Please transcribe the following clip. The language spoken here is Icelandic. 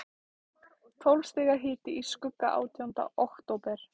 Tólf stiga hiti í skugga átjánda október.